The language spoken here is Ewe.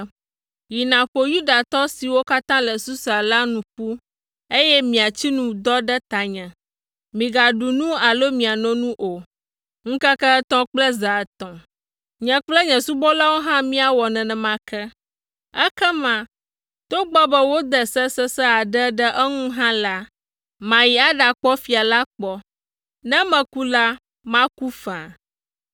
“Yi nàƒo Yudatɔ siwo katã le Susa la nu ƒu, eye miatsi nu dɔ ɖe tanye, migaɖu nu alo miano nu o, ŋkeke etɔ̃ kple zã etɔ̃. Nye kple nye subɔlawo hã míawɔ nenema ke. Ekema, togbɔ be wode se sesẽ aɖe ɖe eŋu hã la, mayi aɖakpɔ fia la kpɔ. Ne meku la, maku faa!”